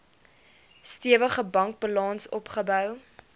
stewige bankbalans opgebou